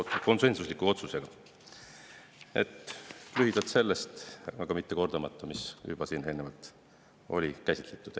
sellest, kordamata seda, mida on siin juba eelnevalt käsitletud.